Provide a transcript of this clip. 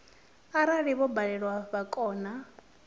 arali vho balelwa vha kona